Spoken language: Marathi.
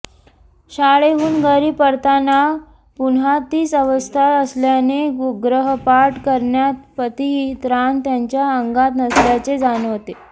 शाळेहून घरी परतताना पुन्हा तीच अवस्था असल्याने गृहपाठ करण्याइतपतही त्राण त्यांच्या अंगात नसल्याचे जाणवते